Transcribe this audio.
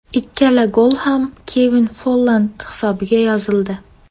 Ikkala gol ham Kevin Folland hisobiga yozildi.